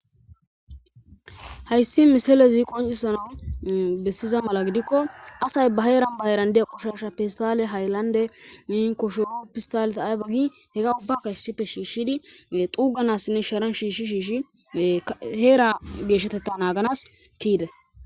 Haysi misileze qoncisanaw besiza mala gidiko asy ba heran ba heran goshashiy pestaliyan haylande koshoro pestaleza ayba gin hega ubbakka shishidi xuganasinne Sharan shi shi Hera geshateta naganasi Keyida